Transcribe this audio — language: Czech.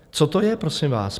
Co to je, prosím vás?